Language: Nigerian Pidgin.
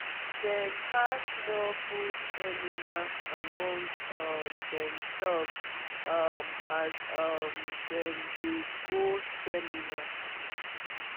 dem pass small food container among um demself um as um dem dey go seminar.